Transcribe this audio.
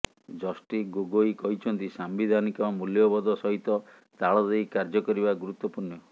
justice Gogoi କହିଛନ୍ତି ସାମ୍ବିଧାନିକ ମୂଲ୍ୟବୋଧ ସହିତ ତାଳଦେଇ କାର୍ଯ୍ୟ କରିବା ଗୁରୁତ୍ବପୂର୍ଣ୍ଣ